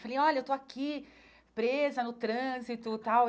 Falei, olha, eu estou aqui presa no trânsito e tal.